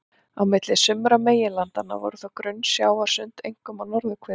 Á milli sumra meginlandanna voru þó grunn sjávarsund, einkum á norðurhveli.